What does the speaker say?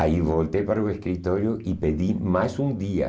Aí voltei para o escritório e pedi mais um dia.